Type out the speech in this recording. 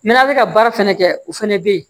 N'an bɛ ka baara fɛnɛ kɛ o fɛnɛ be yen